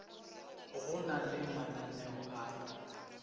go na le mananeo a